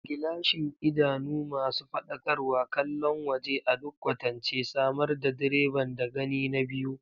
Gilashin, idanu masu faɗakarwa, kallon waje a duk kwatance, samar da direban da gani na biyu.